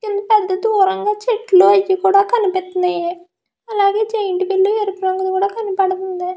చెట్టులు అవి కూడా కనిపిస్తున్నాయి జైన్ట్విల్ కూడా ఎరుపు రంగు లో కనిపిస్తుంది.